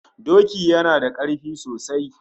Doki yana da karfi sosai